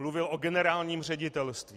Mluvil o generálním ředitelství.